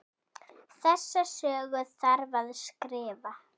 Þessa sögu þarf að skrifa.